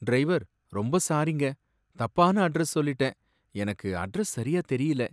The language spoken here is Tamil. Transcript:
டிரைவர்! ரொம்ப சாரிங்க, தப்பான அட்ரஸ் சொல்லிட்டேன், எனக்கு அட்ரஸ் சரியா தெரியல.